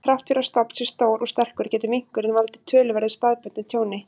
Þrátt fyrir að stofn sé stór og sterkur, getur minkurinn valdið töluverðu staðbundnu tjóni.